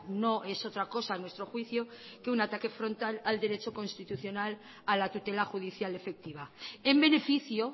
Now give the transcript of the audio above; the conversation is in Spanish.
no es otra cosa a nuestro juicio que un ataque frontal al derecho constitucional a la tutela judicial efectiva en beneficio